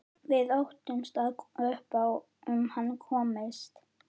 Við óttumst að upp um hann komist.